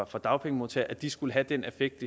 for dagpengemodtagere skulle have den effekt